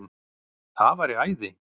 Það væri æði